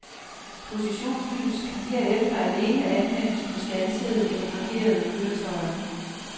Positionslys kan herefter alene anvendes på standsede eller parkerede køretøjer.